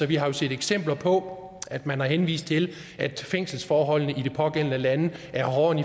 vi har set eksempler på at man har henvist til at fængselsforholdene i de pågældende lande er hårdere